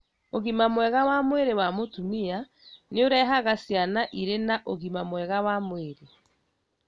ũgima mwega wa mwĩrĩ wa mũtumia nĩũrehaga ciana irĩ na ũgima mwega wa mwĩrĩ